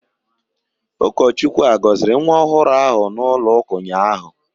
Ụkọchukwu agọziri nwa ọhụrụ ahụ n'ụlọụka ụnyahụ?